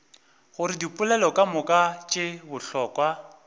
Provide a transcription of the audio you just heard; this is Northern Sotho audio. gore dipoelo kamoka tše bohlokwa